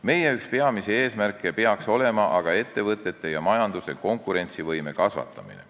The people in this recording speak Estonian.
Meie üks peamisi eesmärke peaks olema aga ettevõtete ja majanduse konkurentsivõime kasvatamine.